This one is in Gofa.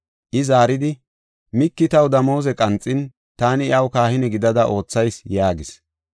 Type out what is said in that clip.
I zaaridi, “Miiki taw damooze qanxin, taani iyaw kahine gidada oothayis” yaagis.